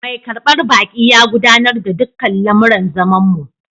Mai karbar baki ya gudanar da dukkan lamuran zamanmu